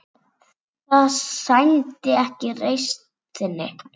Það sæmdi ekki reisn þinni.